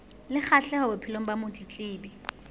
le kgahleho bophelong ba motletlebi